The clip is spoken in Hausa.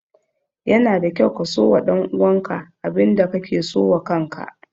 Yana da kyau ka so wa ɗan uwan ka abin da ka ke so wa kan ka.